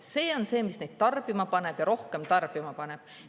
See on see, mis neid tarbima paneb ja rohkem tarbima paneb.